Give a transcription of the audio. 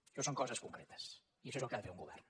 això són coses concretes i això és el que ha de fer un govern